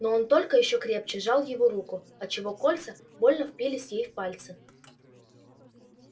но он только ещё крепче сжал её руку отчего кольца больно впились ей в пальцы